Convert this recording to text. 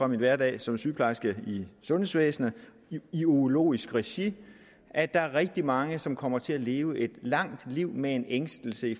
min hverdag som sygeplejerske i sundhedsvæsenet i urologisk regi at der er rigtig mange som kommer til at leve et langt liv med en ængstelse